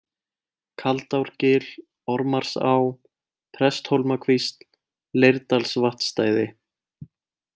Kaldárgil, Ormarsá, Presthólmakvísl, Leirdalsvatnsstæði